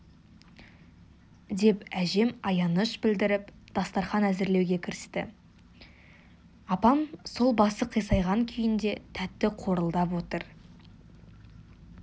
деп әжем аяныш білдіріп дастарқан әзірлеуге кірісті апам сол басы қисайған күйінде тәтті қорылдап отыр